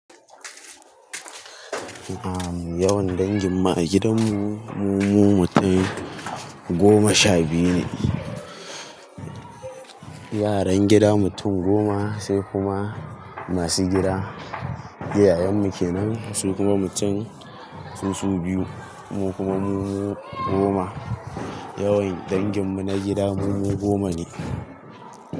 A'a mu yawan dangin mu a gidan mu, mumu mutum goma sha biyu ne. Yaran gida mutum goma, sai kuma masu gida, iyayen mu kenan su kuma mutum susu biyu, mu kuma mu goma. Yawan dangin mu na gida mu goma ne.